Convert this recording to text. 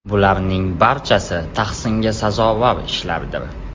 Bularning barchasi tahsinga sazovor ishlardir.